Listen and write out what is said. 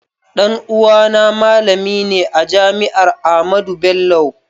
Ɗan uwa na malami ne a jami'ar Ahmadu Bello